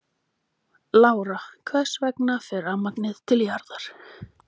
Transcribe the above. Lára: Hvers vegna fer rafmagnið til jarðar?